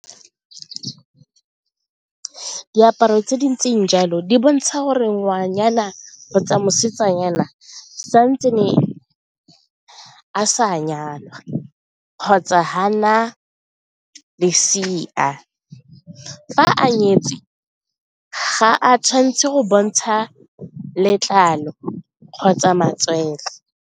Diaparo tse di ntseng jalo di bontsha gore ngwanyana kgotsa mosetsanyana santse ne a sa nyalwa kgotsa ga a na lesea, fa a nyetswe ga a tshwanetse go bontsha letlalo kgotsa matswele.